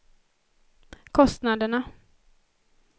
kostnaderna